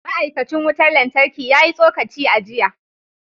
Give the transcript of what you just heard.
Ma’aikacin wutar lantarki ya yi tsokaci a jiya